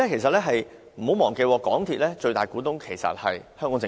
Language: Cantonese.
不要忘記，港鐵公司最大股東是香港政府。